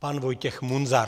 Pan Vojtěch Munzar.